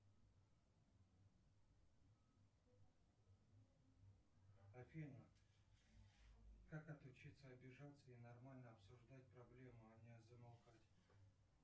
афина как отучиться обижаться и нормально обсуждать проблему а не замолкать